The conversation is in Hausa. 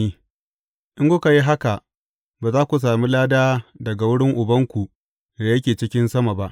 In kuka yi haka, ba za ku sami lada daga wurin Ubanku da yake cikin sama ba.